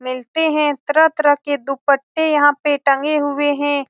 मिलते है तरह-तरह के दुपट्टे यहाँ पे टंगे हुए हैं ।